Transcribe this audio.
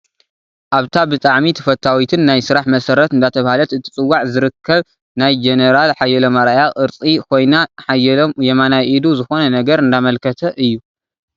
ኣብታ ብታሕሚ ተፈታዊትን ናይ ስራሕ መሰረት አንዳተባሀላተ እትፅዋዕ ዝረከብ ናይ ጀነራል ሓየሎም ኣርኣያ ቅርፂ ኮይና ሓየሎም የማናይ ኢዱ ዝኮነ ነገር እንዳመልከተ እዩ።